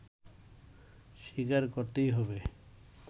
স্বীকার করিতে হইবে